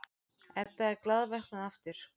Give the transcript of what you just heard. Edda er glaðvöknuð aftur.